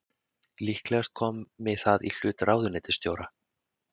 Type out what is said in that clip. Líklegast komi það í hlut ráðuneytisstjóra